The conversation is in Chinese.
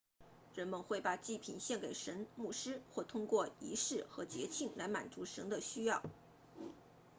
人们会把祭品献给神牧师会通过仪式和节庆来满足神的需要